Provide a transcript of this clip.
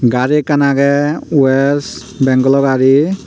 gari ekkan agey west bengal o gari.